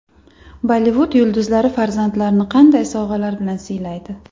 Bollivud yulduzlari farzandlarini qanday sovg‘alar bilan siylaydi?.